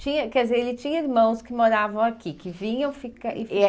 Tinha quer dizer, ele tinha irmãos que moravam aqui, que vinham e ficavam? Eh